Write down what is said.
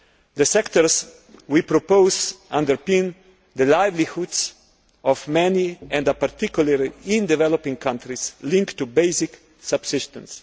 The sectors we propose underpin the livelihoods of many and are, particularly in developing countries, linked to basic subsistence.